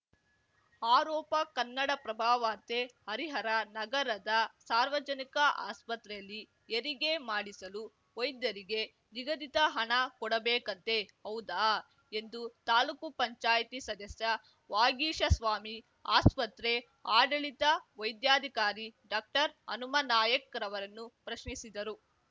ಆರೋಪ ಕನ್ನಡಪ್ರಭ ವಾರ್ತೆ ಹರಿಹರ ನಗರದ ಸಾರ್ವಜನಿಕ ಆಸ್ಪತ್ರೆಯಲ್ಲಿ ಹೆರಿಗೆ ಮಾಡಿಸಲು ವೈದ್ಯರಿಗೆ ನಿಗದಿತ ಹಣ ಕೊಡಬೇಕಂತೆ ಹೌದಾ ಎಂದು ತಾಲೂಕು ಪಂಚಾಯ್ತಿ ಸದಸ್ಯ ವಾಗೀಶಸ್ವಾಮಿ ಆಸ್ಪತ್ರೆ ಆಡಳಿತ ವೈದ್ಯಾಧಿಕಾರಿ ಡಾಕ್ಟರ್ಹನುಮಾನಾಯ್ಕರವರನ್ನು ಪ್ರಶ್ನಿಸಿದರು